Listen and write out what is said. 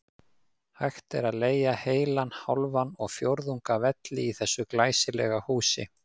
Hægt er að leigja heilan, hálfan og fjórðung af velli í þessu glæsilega húsi.